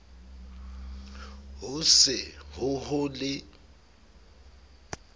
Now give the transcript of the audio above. ho se ho ho le